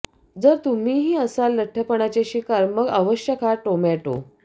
जर तुम्हीही असाल लठ्ठपणाचे शिकार मग अवश्य खा टोमॅटो